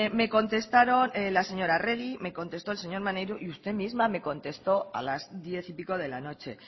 me contestaron la señora arregi me contestó el señor maneiro y usted misma me contestó a las diez y pico de la noche